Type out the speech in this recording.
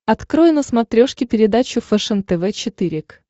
открой на смотрешке передачу фэшен тв четыре к